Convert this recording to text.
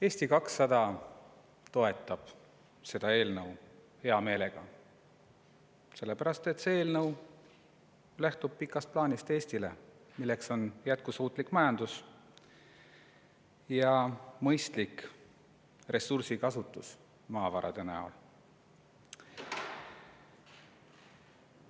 Eesti 200 toetab seda eelnõu hea meelega, sellepärast et see eelnõu lähtub pikast plaanist Eestile, milleks on jätkusuutlik majandus ja ressursside, just maavarade mõistlik kasutus.